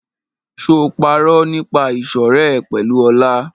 Ṣé o parọ́ nípa ìṣọ̀rẹ́ ẹ pẹ̀lú Ọlá?